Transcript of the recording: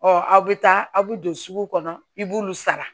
Ɔ aw bɛ taa aw bɛ don sugu kɔnɔ i b'olu sara